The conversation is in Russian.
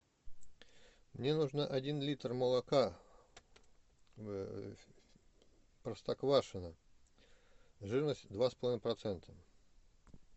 мне нужно один литр молока простоквашино жирность два с половиной процента